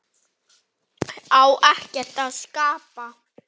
Á ekkert að skapa?